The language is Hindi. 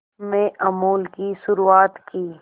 में अमूल की शुरुआत की